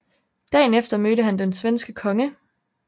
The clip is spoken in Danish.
Dagen efter mødte han den svenske konge